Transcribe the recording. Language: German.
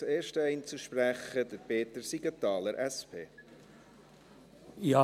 Als erster Einzelsprecher, Peter Siegenthaler, SP.